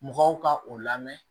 Mɔgɔw ka o lamɛn